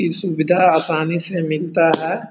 इ सुविधा आसानी से मिलता है।